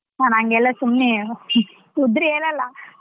ನಾನ್ ಹಂಗೆಲ್ಲಾ ಸುಮ್ನೆ ಉದ್ರಿ ಹೇಳಲ್ಲ.